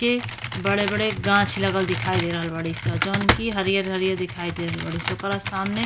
के बड़े बड़े गाँछ लागल दीखाई दे रहल बाड़ी सन। जोनकी हरीयर हरीयर दिखाई दे रहल बानी सन उकरा सामने --